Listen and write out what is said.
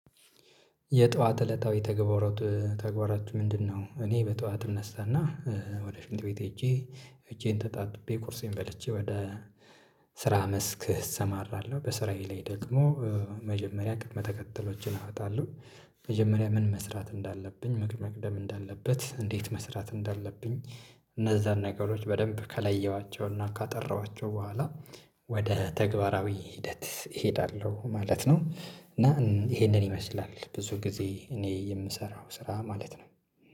የጧት እለታዊ ተግባራት ተግባራችሁ ምንድነው? እኔ በጧት እነሳና ወደ ሽንት ቤት ሄጄ እጄን ተጣጥቤ ቁርሴን በልቼ ወደ ስራ መስክ እሰማራለሁ። በስራዬ ላይ ደግሞ መጀመሪያ ቅድመ ተከታሎችን አወጣለሁ። መጀመሪያ ምን መስራት እንዳለብኝ ምን መቅደም እንዳለበት እንዴት መስራት እንዳለብኝ። እነዛን ነገሮች በደንብ ከለየኋቸውና ካጠራኋቸው በኋላ ወደ ተግባራዊ ሂደት እሄዳለሁ ማለት ነው። እና ይሄንን ይመስላል ብዙ ጊዜ እኔ የምሰራው ስራ ማለት ነው